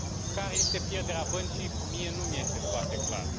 Care este pierderea băncii, mie nu îmi este foarte clar.